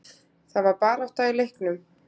Það var barátta í leiknum.